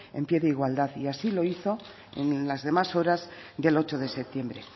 en pie de igualdad y así lo hizo en las demás horas del ocho de septiembre